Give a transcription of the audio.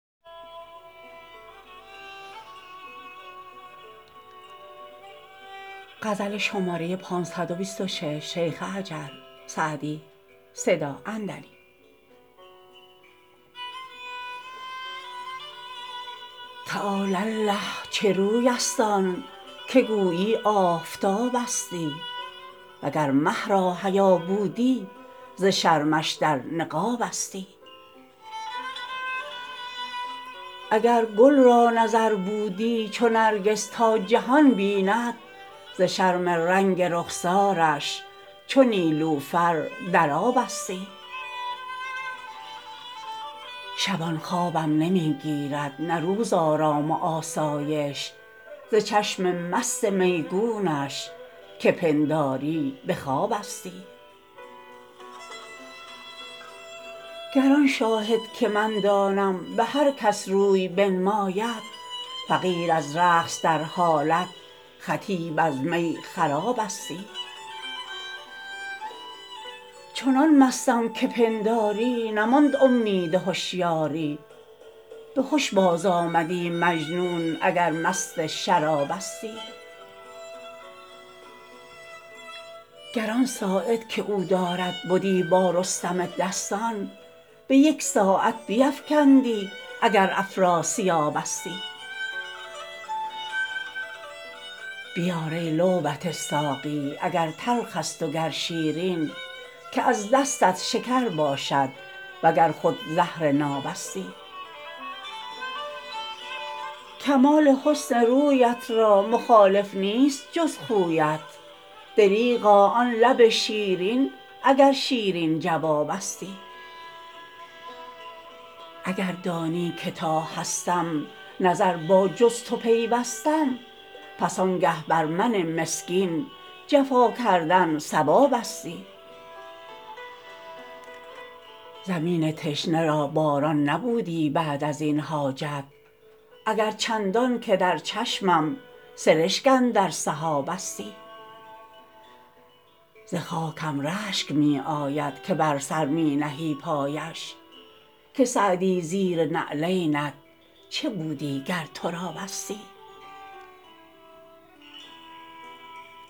تعالی الله چه روی است آن که گویی آفتابستی و گر مه را حیا بودی ز شرمش در نقابستی اگر گل را نظر بودی چو نرگس تا جهان بیند ز شرم رنگ رخسارش چو نیلوفر در آبستی شبان خوابم نمی گیرد نه روز آرام و آسایش ز چشم مست میگونش که پنداری به خوابستی گر آن شاهد که من دانم به هر کس روی بنماید فقیر از رقص در حالت خطیب از می خرابستی چنان مستم که پنداری نماند امید هشیاری به هش بازآمدی مجنون اگر مست شرابستی گر آن ساعد که او دارد بدی با رستم دستان به یک ساعت بیفکندی اگر افراسیابستی بیار ای لعبت ساقی اگر تلخ است و گر شیرین که از دستت شکر باشد و گر خود زهر نابستی کمال حسن رویت را مخالف نیست جز خویت دریغا آن لب شیرین اگر شیرین جوابستی اگر دانی که تا هستم نظر با جز تو پیوستم پس آنگه بر من مسکین جفا کردن صوابستی زمین تشنه را باران نبودی بعد از این حاجت اگر چندان که در چشمم سرشک اندر سحابستی ز خاکم رشک می آید که بر سر می نهی پایش که سعدی زیر نعلینت چه بودی گر ترابستی